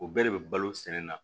O bɛɛ de bɛ balo sɛnɛ na